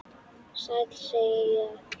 Sæll, segi ég.